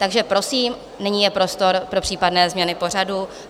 Takže prosím, nyní je prostor pro případné změny pořadu.